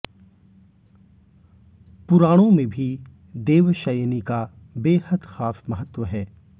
पुराणों में भी देवशयनी का बेहद खास महत्व है